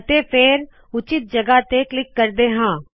ਅਤੇ ਫੇਰ ਉਚਿੱਤ ਜਗਹ ਤੇ ਕਲਿੱਕ ਕਰਦੇ ਹਾ